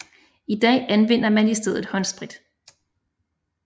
I dag anvender man i stedet håndsprit